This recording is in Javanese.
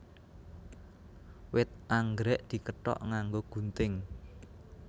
Wit anggrèk dikethok nganggo gunting